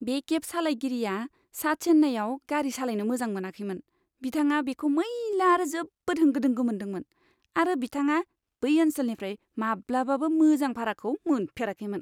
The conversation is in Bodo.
बे केब सालायगिरिया सा चेन्नाईआव गारि सालायनो मोजां मोनाखैमोन। बिथाङा बेखौ मैला आरो जोबोद होंगो दोंगो मोनदोंमोन, आरो बिथाङा बै ओनसोलनिफ्राय माब्लाबाबो मोजां भाराखौ मोनफेराखैमोन!